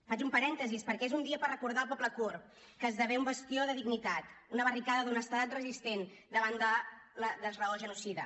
faig un parèntesi perquè és un dia per recordar el poble kurd que esdevé un bastió de dignitat una barricada d’honestedat resistent davant de la desraó genocida